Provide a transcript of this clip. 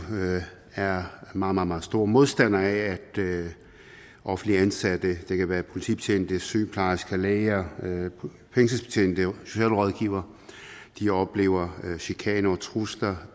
er meget meget store modstandere af at offentligt ansatte det kan være politibetjente sygeplejersker læger fængselsbetjente socialrådgivere oplever chikane og trusler